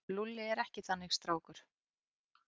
Lúlli er ekki þannig strákur.